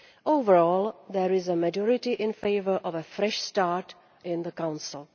Overall, there is a majority in favour of a fresh start in the Council.